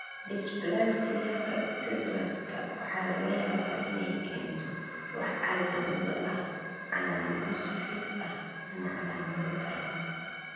Dysplasiaka Fibrouska waxa laga yaabaa inay keento wax calaamado ah, calaamado khafiif ah, ama calaamado daran.